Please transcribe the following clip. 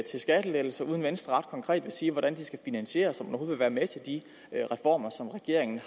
skattelettelser uden at venstre ret konkret vil sige hvordan det skal finansieres så vil være med til de reformer som regeringen